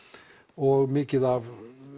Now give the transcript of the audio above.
og mikið af